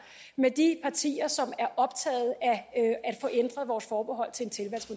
med de partier som er optaget af at få ændret vores forbehold til